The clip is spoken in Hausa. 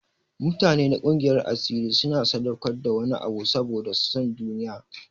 Mutane na gungiyar asiri suna sadaukar da wani abu saboda son duniya.